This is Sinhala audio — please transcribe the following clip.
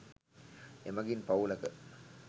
එමඟින් පවුලක